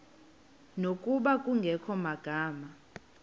ngokuba kungekho magama